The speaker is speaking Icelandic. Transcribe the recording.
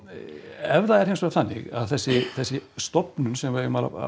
ef það er hins vegar þannig að þessi þessi stofnun sem við eigum að